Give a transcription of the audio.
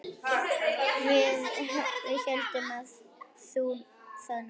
Við héldum það nú.